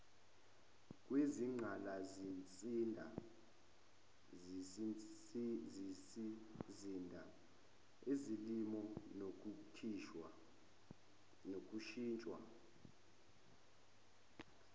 kwezingqalasizinda ezolimo nokushintshwa